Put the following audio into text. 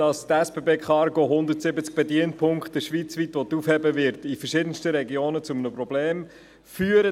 Dass die SBB Cargo schweizweit 170 Bedienpunkte aufheben will, wird in verschiedensten Regionen zu einem Problem führen.